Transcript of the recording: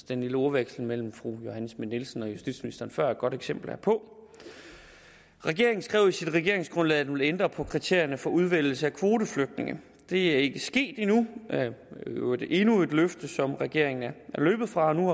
den lille ordveksling mellem fru johanne schmidt nielsen og justitsministeren før var et godt eksempel herpå regeringen skrev i sit regeringsgrundlag at den ville ændre på kriterierne for udvælgelse af kvoteflygtninge det er ikke sket endnu i øvrigt endnu et løfte som regeringen er løbet fra og nu